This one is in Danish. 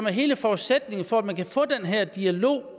er hele forudsætningen for at man kan få den her dialog